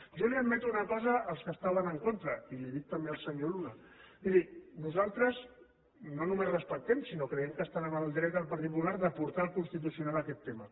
jo els admeto una cosa als que hi estaven en contra i li ho dic també al senyor luna miri nosaltres no només respectem sinó que creiem que estan en el dret el partit popular de portar al constitucional aquest tema